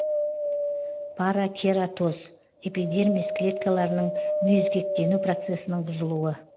паракератоз эпидермис клеткаларының мүйізгектену процесінің бұзылуы